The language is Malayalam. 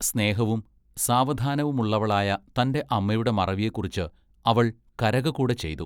സ്നേഹവും സാവധാനവുമുള്ളവളായ തന്റെ അമ്മയുടെ മറവിയെ കുറിച്ച് അവൾ കരക കൂടെ ചെയ്തു.